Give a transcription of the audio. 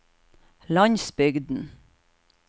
landsbygden